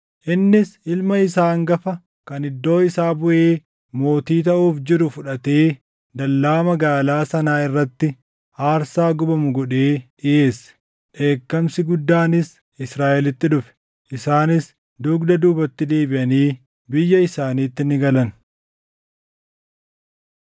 Innis ilma isaa hangafa kan iddoo isaa buʼee mootii taʼuuf jiru fudhatee dallaa magaalaa sanaa irratti aarsaa gubamu godhee dhiʼeesse. Dheekkamsi guddaanis Israaʼelitti dhufe. Isaanis dugda duubatti deebiʼanii biyya isaaniitti ni galan.